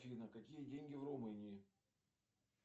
афина какие деньги в румынии